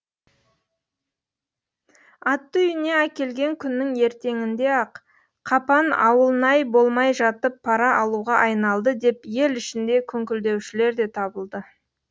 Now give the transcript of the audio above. атты үйіне әкелген күннің ертеңінде ақ қапан ауылнай болмай жатып пара алуға айналды деп ел ішінде күңкілдеушілер де табылды